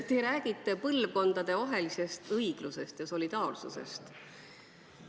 Te räägite põlvkondadevahelisest õiglusest ja solidaarsusest.